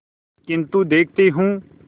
किन्तु देखती हूँ